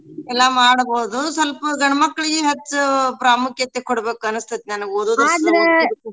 ಎಲ್ಲಾ ಮಾಡ್ಬೋದು ಸ್ವಲ್ಪ ಗಂಡ್ಮಕ್ಳಿಗೂ ಹೆಚ್ಚು ಪ್ರಾಮುಕ್ಯತೆ ಕೊಡ್ಬೇಕು ಅನ್ನಸ್ತೇತ ನನ್ಗ್ .